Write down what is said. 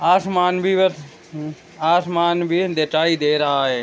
आसमान भी वर उ आसमान भी दिखाई दे रहा है।